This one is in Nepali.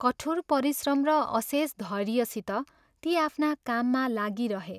कठोर परिश्रम र अशेष धैर्यसित ती आफ्ना काममा लागिरहे।